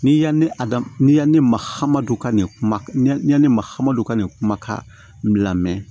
Ni yan ne mahamadu ka nin kuma ne mahamadu ka nin kuma ka lamɛn